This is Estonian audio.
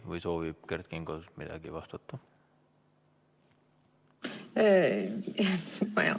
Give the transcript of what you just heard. Või soovib Kert Kingo midagi vastata?